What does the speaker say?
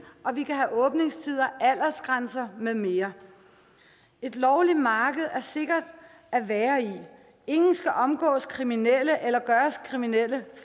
og vi kan have åbningstider aldersgrænser med mere et lovligt marked er sikkert at være i ingen skal omgås kriminelle eller gøres kriminelle